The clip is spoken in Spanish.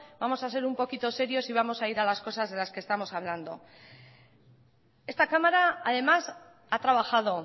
vamos a ser un poquito serios y vamos a ir a las cosas de las que estamos hablando esta cámara además ha trabajado